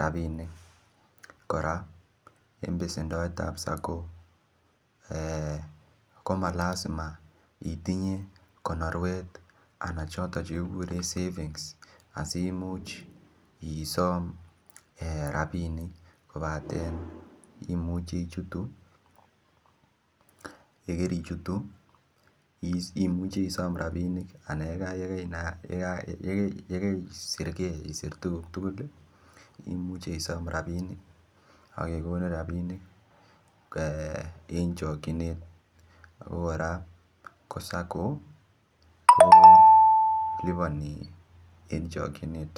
rabinik kora en besendoet ab sacco ko ko Ma Iazima itinye konorwet anan choton Che kikuren savings asi Imuch isom rabinik kobaten imuche ichutu ye karichutu imuche isom rabinik anan ye kaisir ge isir tuguk tugul imuche isom rabinik ak kegonin rabinik en chokyinet ako kora ko SACCO koliponi en chokyinet